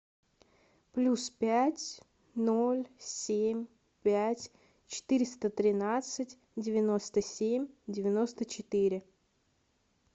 плюс пять ноль семь пять четыреста тринадцать девяносто семь девяносто четыре